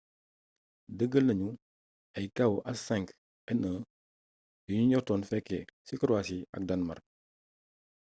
dëgal nañu ay kawu h5n1 yu ñu njortoon fëlé si croitie ak danmark